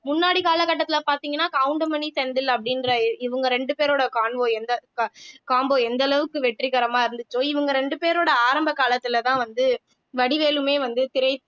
முன்னாடி கால கட்டத்துல பார்த்தீங்கன்னா கவுண்டமணி செந்தில் அப்படின்ற இவங்க ரெண்டு பேரோட எந்த combo எந்த அளவுக்கு வெற்றிகரமா இருந்துச்சோ இவங்க ரெண்டு பேரோட ஆரம்ப காலத்துலதான் வந்து வடிவேலுமே வந்து திரை